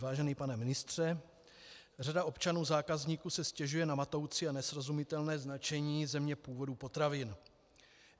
Vážený pane ministře, řada občanů, zákazníků si stěžuje na matoucí a nesrozumitelné značení země původu potravin.